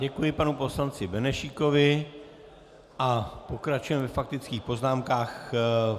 Děkuji panu poslanci Benešíkovi a pokračujeme ve faktických poznámkách.